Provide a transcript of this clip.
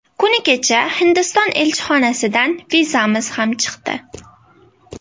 Kuni kecha Hindiston elchixonasidan vizamiz ham chiqdi.